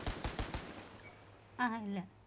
அஹான் இல்லை